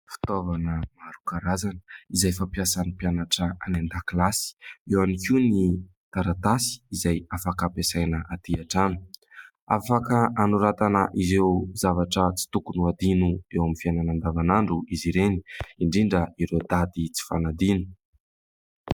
Fitaovana maro karazana izay fampiasan'ny mpianatra any an-dakilasy. Eo ihany koa ny taratasy izay afaka ampiasaina aty an-trano. Afaka anoratana ireo zavatra tsy tokony ho adino eo amin'ny fiainana andavanandro izy ireny, indrindra ireo daty tsy fanadino.